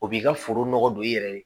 O b'i ka foro nɔgɔ don i yɛrɛ ye